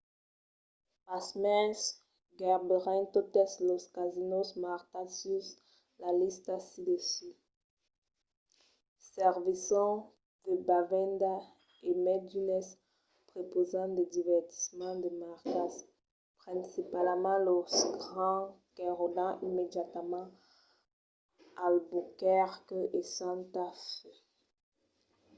pasmens gaireben totes los casinòs marcats sus la lista çai-sus servisson de bevendas e mai d'unes prepausan de divertiments de marcas principalament los grands qu'enròdan immediatament albuquerque e santa fe